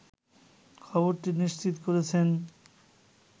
খবরটি নিশ্চিত করেছেন